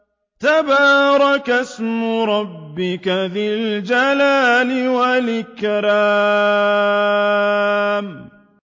تَبَارَكَ اسْمُ رَبِّكَ ذِي الْجَلَالِ وَالْإِكْرَامِ